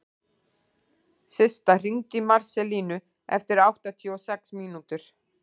Systa, hringdu í Marselínu eftir áttatíu og sex mínútur.